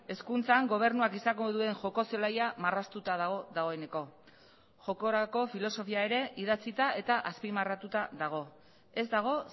hezkuntzan gobernuak izango duen joko zelaia marraztuta dago dagoeneko jokorako filosofia ere idatzita eta azpimarratuta dago ez dago